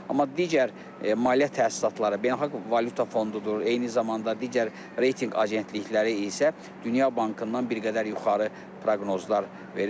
Amma digər maliyyə təsisatları, beynəlxalq valyuta fondu da, eyni zamanda digər reytinq agentlikləri isə Dünya Bankından bir qədər yuxarı proqnozlar verir.